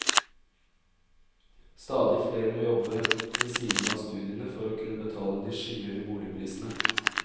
Stadig flere må jobbe ved siden av studiene for å kunne betale de skyhøye boligprisene.